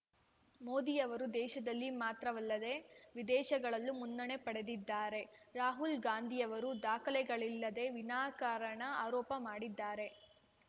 ಮೋದಿಯವರು ದೇಶದಲ್ಲಿ ಮಾತ್ರವಲ್ಲದೆ ವಿದೇಶಗಳಲ್ಲೂ ಮುನ್ನಣೆ ಪಡೆದಿದ್ದಾರೆ ರಾಹುಲ್‌ ಗಾಂಧಿಯವರು ದಾಖಲೆಗಳಿಲ್ಲದೆ ವಿನಾಕಾರಣ ಆರೋಪ ಮಾಡಿದ್ದಾರೆ